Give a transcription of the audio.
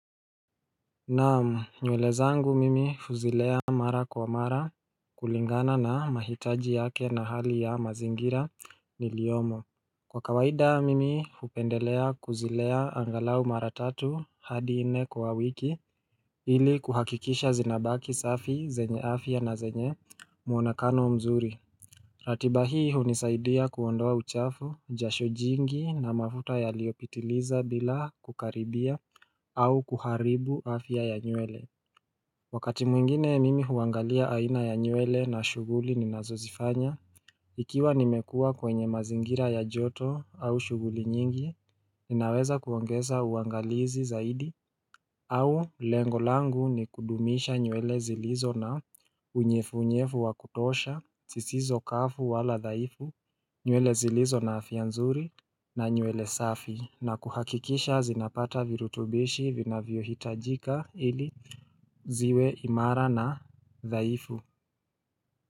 Na'amu nywele zangu mimi huzilea mara kwa mara kulingana na mahitaji yake na hali ya mazingira niliyomo. Kwa kawaida mimi hupendelea kuzilea angalau mara tatu hadi nne kwa wiki ili kuhakikisha zinabaki safi zenye afya na zenye mwonekano mzuri ratiba hii hunisaidia kuondoa uchafu, jasho jingi na mafuta yalioyopitiliza bila kukaribia au kuharibu afya ya nywele Wakati mwingine mimi huangalia aina ya nywele na shughuli ninazozifanya Ikiwa nimekua kwenye mazingira ya joto au shughuli nyingi, ninaweza kuongeza uangalizi zaidi au lengo langu ni kudumisha nywele zilizo na unyevunyevu wa kutosha, zisizo kavu wala dhaifu, nywele zilizo na afya nzuri na nywele safi. Na kuhakikisha zinapata virutubishi vinavyohitajika ili ziwe imara na dhaifu.